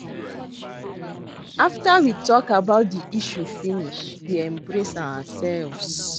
After we talk about the issue finish we embrace ourselves